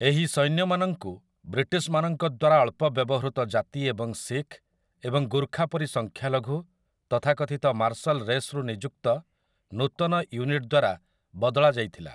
ଏହି ସୈନ୍ୟମାନଙ୍କୁ ବ୍ରିଟିଶମାନଙ୍କ ଦ୍ୱାରା ଅଳ୍ପ ବ୍ୟବହୃତ ଜାତିଏବଂ ଶିଖ ଏବଂ ଗୁର୍ଖା ପରି ସଂଖ୍ୟାଲଘୁ ତଥାକଥିତ ମାର୍ଶଲ ରେସ୍ ରୁ ନିଯୁକ୍ତ ନୂତନ ୟୁନିଟ୍ ଦ୍ୱାରା ବଦଳାଯାଇଥିଲା ।